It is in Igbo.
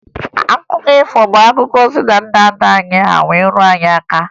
Akụkọ ifo bụ akụkọ si na ndị nna nna anyị wee ruo anyị aka